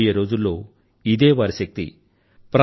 రాబోయే రోజుల్లో ఇదే వారి శక్తి